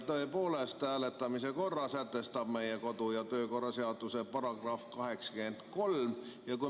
Tõepoolest, hääletamise korra sätestab meie kodu‑ ja töökorra seaduse § 83.